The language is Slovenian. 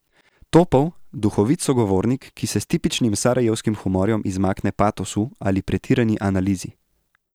Topel, duhovit sogovornik, ki se s tipičnim sarajevskim humorjem izmakne patosu ali pretirani analizi.